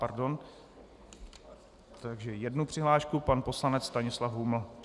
Pardon, takže jednu přihlášku - pan poslanec Stanislav Huml.